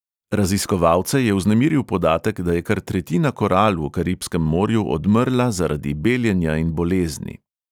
Raziskovalce je vznemiril podatek, da je kar tretjina koral v karibskem morju odmrla zaradi beljenja in bolezni.